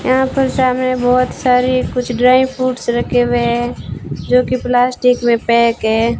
यहां पर सामने बहुत सारी कुछ ड्राई फ्रूट्स रखे हुए हैं जो कि प्लास्टिक में पैक हैं।